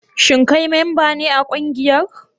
Shin kai memba ne a kungiyar?